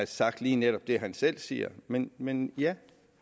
sagt lige netop det han selv siger men men ja